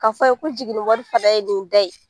K'a fɔ a ye ko jiginni wari fana ye nin da ye